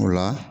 O la